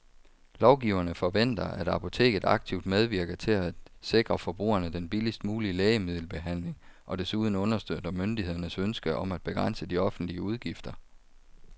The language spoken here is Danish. Lovgiverne forventer, at apoteket aktivt medvirker til at sikre forbrugerne den billigst mulige lægemiddelbehandling og desuden understøtter myndighedernes ønske om at begrænse de offentlige udgifter.